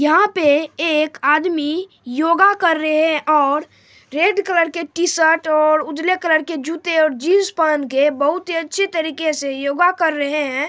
यहाँ पर एक आदमी योगा कर रहे है और रेड कलर के टी-शर्ट और उजले कलर के जूते और जीन्स पहन के बहुत ही अच्छी तरीके से योगा कर रहे है।